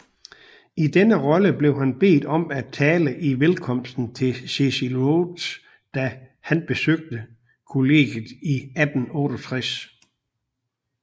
I denne rolle blev han bedt om at tale i velkomsten til Cecil Rhodes da han besøgte colleget i 1868